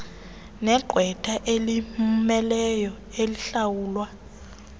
negqwetha elimmeleyo elihlawulwa